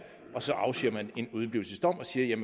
og så afsiger man en udeblivelsesdom og siger